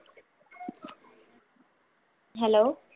hello